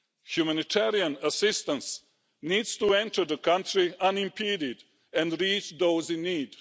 Humanitarian assistance needs to enter the country unimpeded and reach those in need.